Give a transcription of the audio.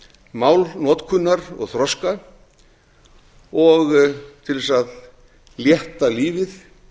málnotkunar og þroska og til þess að létta lífið